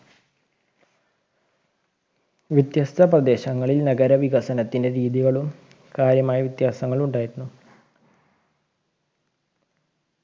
വ്യത്യസ്‌ത പ്രദേശങ്ങളിൽ നഗര വികസനത്തിന്റെ രീതികളും കാര്യമായ വ്യത്യാസങ്ങൾ ഉണ്ടാനടനായിരുന്നു